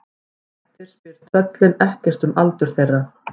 Grettir spyr tröllin ekkert um aldur þeirra.